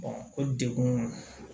o degun